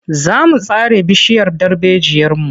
Za mu sare bishiyar darbejiyarmu.